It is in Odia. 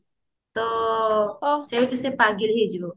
ତ ସେଇଠୁ ସେ ପାଗଳି ହେଇଯିବ